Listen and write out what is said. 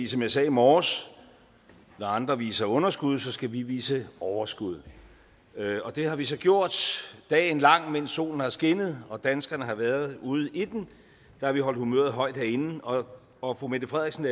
som jeg sagde i morges når andre viser underskud skal vi vise overskud og det har vi så gjort dagen lang mens solen har skinnet og danskerne har været ude i den har vi holdt humøret højt herinde og og fru mette frederiksen